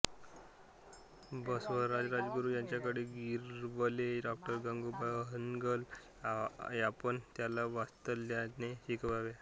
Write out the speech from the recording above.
बसवराज राजगुरू ह्यांच्याकडे गिरवले डॉ गंगूबाई हनगल यापण त्याला वात्सल्याने शिकवायच्या